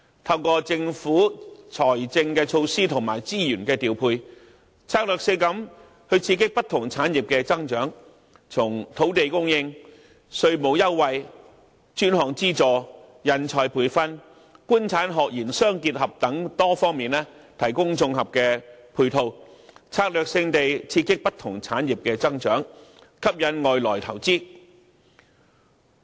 透過政府的財政措施和資源調配，策略性地刺激不同產業的增長，從土地供應、稅務優惠、專項資助、人才培訓、官產學研雙結合等多方面，提供綜合配套，策略性地刺激不同產業的增長，吸引外來投資。